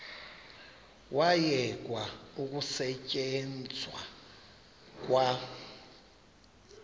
kwayekwa ukusetyenzwa kwa